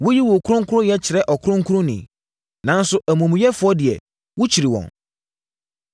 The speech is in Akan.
Woyi wo kronkronyɛ kyerɛ ɔkronkronni, nanso amumuyɛfoɔ deɛ wokyiri wɔn.